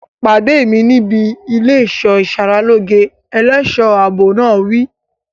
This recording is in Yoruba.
Pàdé mi níbi ilé ẹ̀ṣọ́ ìsaralóge! Ẹlẹ́ṣọ̀ ààbò náà wí.